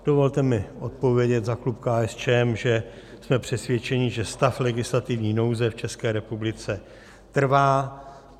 Dovolte mi odpovědět za klub KSČM, že jsme přesvědčeni, že stav legislativní nouze v České republice trvá.